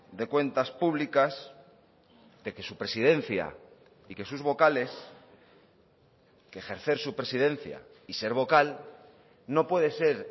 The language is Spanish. de cuentas públicas de que su presidencia y que sus vocales que ejercer su presidencia y ser vocal no puede ser